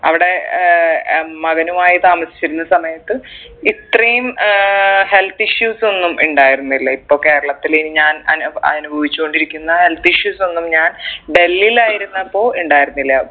അവിടെ ഏർ അഹ് മകനുമായി താമസിച്ചിരുന്ന സമയത്ത് ഇത്രേം ഏർ heath issues ഒന്നും ഇണ്ടായിരുന്നില്ല ഇപ്പൊ കേരളത്തിൽ ഞാൻ അനു അനുഭവിച്ചുണ്ടിരിക്കുന്ന health issues ഒന്നും ഞാൻ ഡൽഹിൽ ആയിരുന്നപ്പോൾ ഇണ്ടായിരുന്നില്ല